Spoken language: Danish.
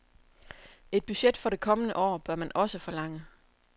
Et budget for det kommende år bør man også forlange.